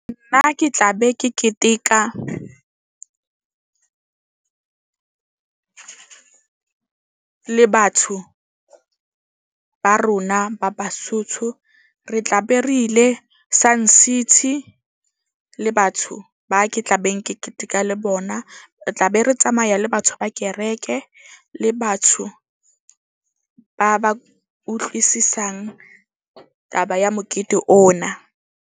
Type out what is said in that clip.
Nna ke tla be ke keteka le batho ba rona ba Basotho. Re tla be re ile Sun City le batho ba ke tla beng ke keteka le bona. Re tla be re tsamaya le batho ba kereke le batho ba ba utlwisisang taba ya mokete ona.